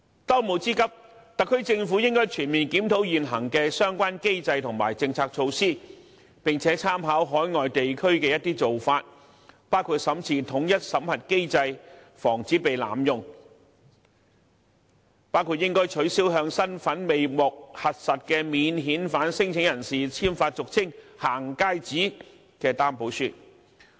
當務之急，特區政府應全面檢討現行相關機制及政策措施，參考外地做法，包括審視統一審核機制，防止濫用，包括取消向身份未獲核實的免遣返聲請人簽發俗稱"行街紙"的擔保書。